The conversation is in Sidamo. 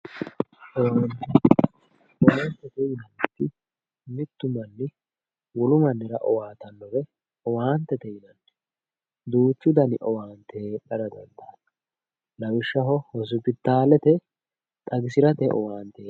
owaantete yinanniti mittu manni wolu mannira owaatannore owaantete yinanni duuchu dani owaante heedhara dandiitanno lawishshaho hosopitaalete xagisirate owaante.